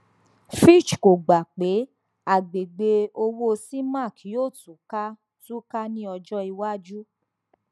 fitch kò gbà pé àgbègbè owó cemac yóò tú ká tú ká ní ọjọ iwájú